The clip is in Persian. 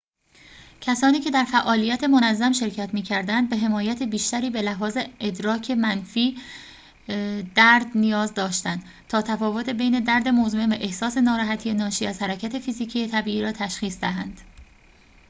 کسانی که در فعالیت منظم شرکت می‌کردند به حمایت بیشتری به لحاظ ادراک منفی درد نیاز داشتند تا تفاوت بین درد مزمن و احساس ناراحتی ناشی از حرکت فیزیکی طبیعی را تشخیص دهند